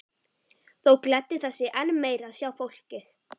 Þó gleddi það sig enn meir að sjá fólkið.